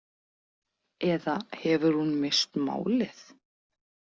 Eða hefur hún misst málið?